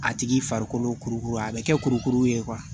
A tigi farikolo kurukuru a bɛ kɛ kurukuru ye